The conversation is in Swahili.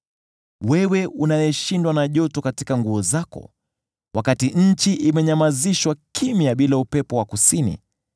Wewe unayeshindwa na joto katika nguo zako wakati nchi imenyamazishwa kimya bila upepo wa kusini,